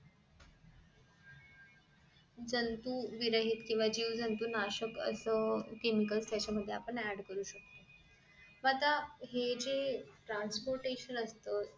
जंतू विरहित केंव्हा जीव जंतू नाशक असं chemical त्याच्या मध्ये आपण add करू शकतो आता हे जे transporation असत